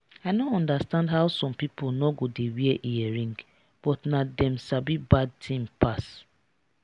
i no understand how some people no go dey wear earring but na dem sabi bad thing pass